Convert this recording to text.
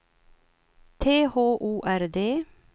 T H O R D